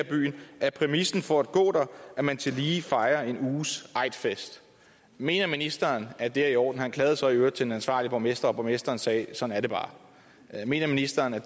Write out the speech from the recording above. er præmissen for at gå der at man tillige fejrer en uges eidfest mener ministeren at det er i orden faren klagede så i øvrigt til den ansvarlige borgmester og borgmesteren sagde sådan er det bare mener ministeren at